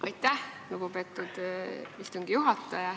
Aitäh, lugupeetud istungi juhataja!